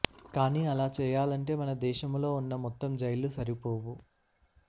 కానీ అలా చేయాలంటే మన దేశములో ఉన్న మొత్తం జైళ్లు సరిపోవు